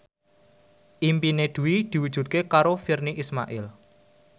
impine Dwi diwujudke karo Virnie Ismail